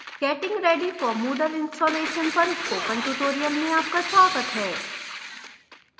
getting ready for moodle installation पर spoken tutorial में आपका स्वागत है